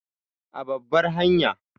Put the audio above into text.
A babbar hanya